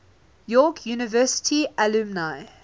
york university alumni